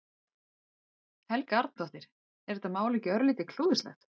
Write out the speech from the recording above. Helga Arnardóttir: Er þetta mál ekki örlítið klúðurslegt?